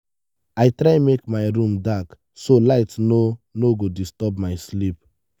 i try make my room dark so light no no go disturb my sleep.